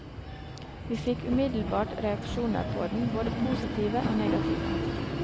Vi fikk umiddelbart reaksjoner på den, både positive og negative.